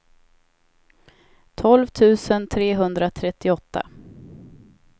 tolv tusen trehundratrettioåtta